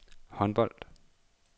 håndbold